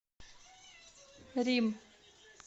рим